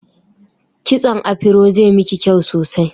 Kitson afiro zai miki kyau sosai